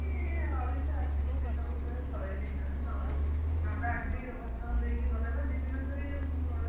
ଓଡିଶା ଆସିକି ସେ ସବୁ ସେ ସରେଇ ଦେଇଛନ୍ତି ନଡା ଆସିକି ଭାଷଣ ଦେଇକି ଗଲେ ପା